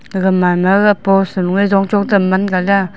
aga manma ga post sa lue chong chong tam mann gala.